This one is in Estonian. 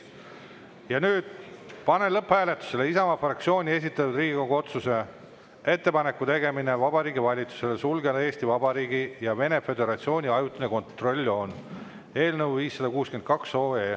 Ja nüüd panen lõpphääletusele Isamaa fraktsiooni esitatud Riigikogu otsuse "Ettepaneku tegemine Vabariigi Valitsusele sulgeda Eesti Vabariigi ja Vene Föderatsiooni ajutine kontrolljoon" eelnõu 562.